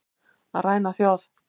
Að ræna þjóð